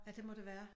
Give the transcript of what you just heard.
Ja det må det være